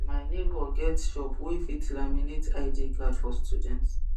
my neighbor get shop wey fit laminate id card for student